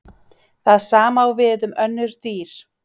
Það sama á við um önnur dýr.